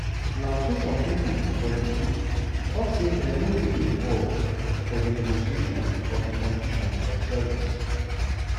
na so some of di pipo for di group tok say dem no dey involved for di negotiation of di conditions of service